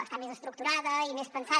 està més estructurada i més pensada